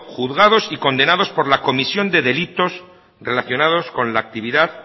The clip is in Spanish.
juzgados y condenados por la comisión de delitos relacionados con la actividad